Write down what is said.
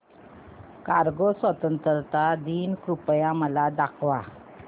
Congo स्वतंत्रता दिन कृपया मला दाखवा